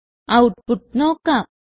output നോക്കാം